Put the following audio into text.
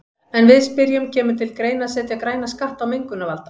En við spyrjum, kemur til greina að setja græna skatta á mengunarvalda?